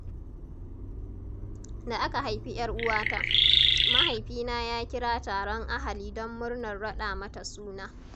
Da aka haifi ‘yar uwata, mahaifina ya kira taron ahali don murnar raɗa mata suna.